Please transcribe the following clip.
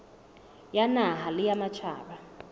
ya naha le ya matjhaba